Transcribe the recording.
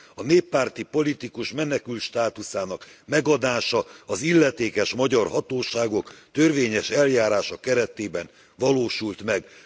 A néppárti politikus menekültstátuszának megadása az illetékes magyar hatóságok törvényes eljárása keretében valósult meg.